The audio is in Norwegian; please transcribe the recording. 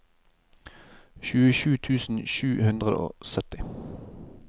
tjuesju tusen sju hundre og sytti